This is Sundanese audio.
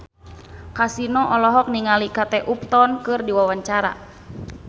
Kasino olohok ningali Kate Upton keur diwawancara